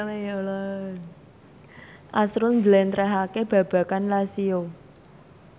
azrul njlentrehake babagan Lazio